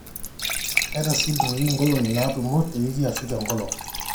eeta sii ilturrurri inkolong'i naatumo tewiki aashu tenkolong